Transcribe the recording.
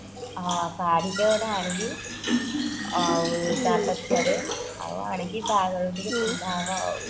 ହଁ ଶାଢୀ ତ ଗୋଟେ ଆଣିବି ଆଉ ପାପୋଛ ଟେ ଆଉ ଆଣିକି ବାହାଘର ଦିନ ପିନ୍ଧାହେବ ଆଉ